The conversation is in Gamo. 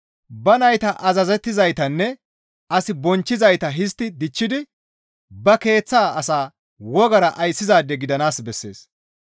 Ba nayta azazettizaytanne as bonchchizayta histti dichchidi ba keeththa asaa wogara ayssizaade gidanaas bessees.